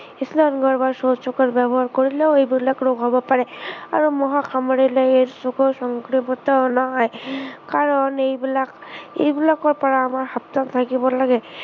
স্নানাগাৰ বা শৌচালয় ব্য়ৱহাৰ কৰিলেও এইবিলাক ৰোগ হব পাৰে। আৰু মহে কামোৰিলে AIDS ৰোগৰ সংক্ৰমিত নহয়। কাৰন এইবিলাক, এইবিলাকৰ পৰা আমাৰ সাৱধান থাকিব লাগে।